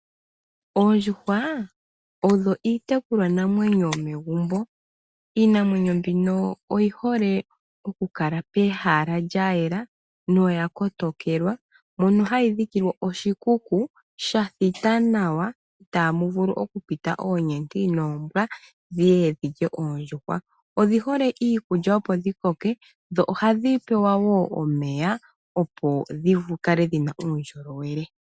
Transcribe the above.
Oondjuhwa odho itekulwa namwenyo yomegumbo. Iinamwenyo mbino oyi hole oku kala pehala lya yela noya kotokelwa, mono hayi dhikilwa oshikuku shathita nawa itamu vulu oku pita oonyenti noombwa dhiye dhilye oondjuhwa. Odhi hole iikulya opo dhi koke dho ohadhi pewa wo omeya opo dhikale dhina uundjolowele.